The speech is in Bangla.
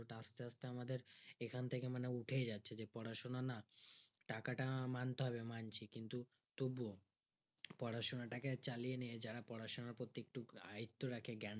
আস্তে আস্তে আমাদের এখন থেকে মানে উঠেই যাচ্ছে যে পড়াশোনা না টাকাটা মানতে হবে মানছি কিন্তু তবুও পড়াশোনাটাকে চালিয়ে নিয়ে যারা পড়াশোনা প্রতি একটু আয়ত্তে রাখে জ্ঞান